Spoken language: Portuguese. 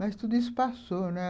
Mas tudo isso passou, né?